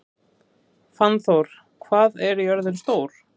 Fannþór, hvað er jörðin stór?